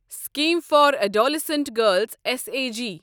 scheme for adolescent girls S A G